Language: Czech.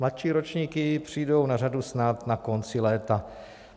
Mladší ročníky přijdou na řadu snad na konci léta.